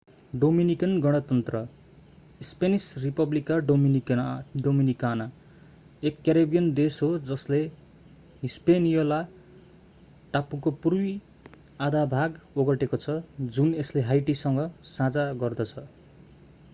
Dominican गणतन्त्र Spanish: Republica Dominicana एक Caribbean देश हो जसले हिस्पेनियोला टापुको पूर्वी आधा भाग ओगटेको छ जुन यसले हाइटीसँग साझा गर्दछ।